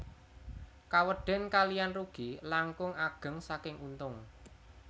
Kawedén kaliyan rugi langkung ageng saking untung